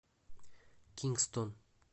кингстон